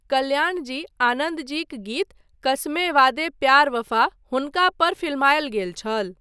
कल्याणजी आनन्दजीक गीत 'कसमें वादे प्यार वफा' हुनका पर फिल्मायल गेल छल।